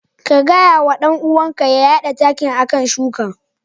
Ka gaya wa dan uwanka ya yada takin a kan shukan.